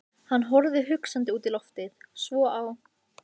Hann horfði hugsandi út í loftið, svo á